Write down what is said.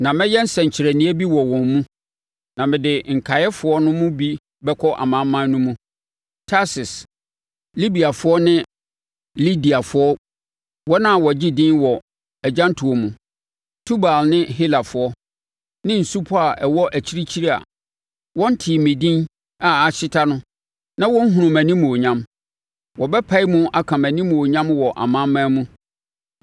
“Na mɛyɛ nsɛnkyerɛnneɛ bi wɔ wɔn mu, na mede nkaeɛfoɔ no mu bi bɛkɔ amanaman no mu: Tarsis, Libiafoɔ ne Lidiafoɔ (wɔn a wɔagye edin wɔ agyantoɔ mu), Tubal ne Helafoɔ, ne nsupɔ a ɛwɔ akyirikyiri a wɔntee me din a ahyeta na wɔnhunuu mʼanimuonyam. Wɔbɛpae mu aka mʼanimuonyam wɔ amanaman mu.